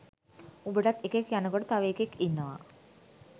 උඹටත් එකෙක් යනකොට තව එකෙක් ඉන්නවා